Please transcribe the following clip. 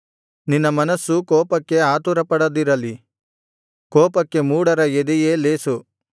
ನಿನ್ನ ಮನಸ್ಸು ಕೋಪಕ್ಕೆ ಆತುರಪಡದಿರಲಿ ಕೋಪಕ್ಕೆ ಮೂಢರ ಎದೆಯೇ ಲೇಸು